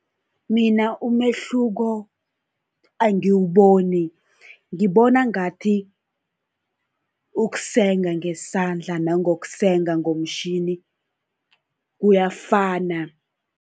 Mina umehluko angiwuboni, ngibona ngathi ukusenga ngesandla nangokusenga ngomtjhini kuyafana.